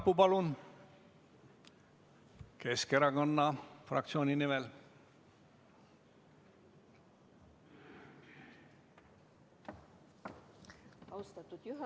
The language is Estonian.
Kersti Sarapuu Keskerakonna fraktsiooni nimel.